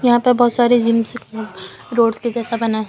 यहां पे बहुत सारे जिम रोड्स के जैसा बना है।